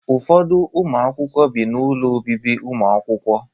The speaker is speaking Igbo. Ụfọdụ ụmụ akwụkwọ bi na ụlọ obibi ụmụakwụkwọ.